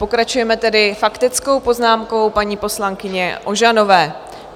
Pokračujeme tedy faktickou poznámkou paní poslankyně Ožanové.